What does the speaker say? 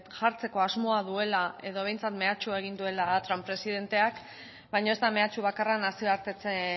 jartzeko asmoa duela edo behintzat mehatxua egin duela trump presidenteak baina ez da mehatxu bakarra nazioartetze